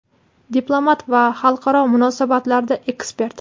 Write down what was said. diplomat va xalqaro munosabatlarda ekspert.